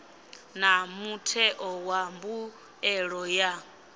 na mutheo wa mbuelo ya